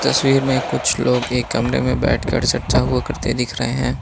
तस्वीर में कुछ लोग एक कमरे में बैठ कर चर्चा हुआ करते दिख रहे हैं।